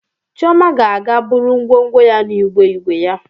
Chioma ga-aga buru ngwongwo ya n'igwe igwe ya.